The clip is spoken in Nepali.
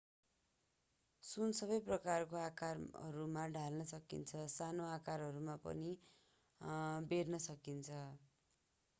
सुन सबै प्रकारका आकारहरूमा ढाल्न सकिन्छ साना आकारहरूमा पनि बेर्न सकिन्छ